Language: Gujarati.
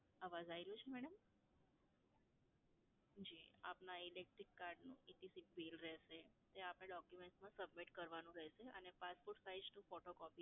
અવાજ આવી રહ્યો છે મેડમ? જી, આપના electric card નું bill રહેશે જે આપના documents માં submit કરવાનું રહેશે અને passport sized photocopy